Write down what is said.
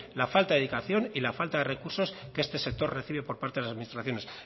la falta de dedicación y la falta de recursos que este sector recibe por parte de las administraciones